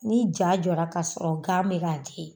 Ni ja jɔra k'a sɔrɔ gan bɛ ka den.